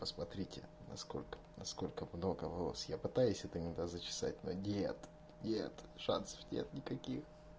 посмотрите насколько насколько много волос я пытаюсь это иногда зачесать но нет нет шансов нет никаких